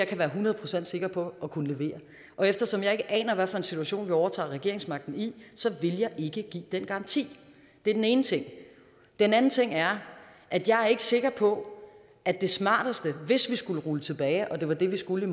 kan være hundrede procent sikker på at kunne levere og eftersom jeg ikke aner hvad for en situation vi overtager regeringsmagten i vil jeg ikke give den garanti det er den ene ting den anden ting er at jeg ikke er sikker på at det smarteste hvis vi skulle rulle det tilbage og det var det vi skulle